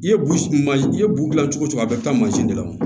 I ye bu man i ye bu gilan cogo cogo a bɛɛ bɛ taa mansin de la wo